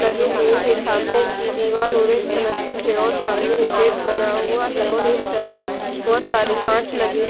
लगे हुए हैं सामने की दीवाल ऑरेंज कलर की है और सामने एक गेट बना हुआ है और साइड बहुत सारे कांच लगे--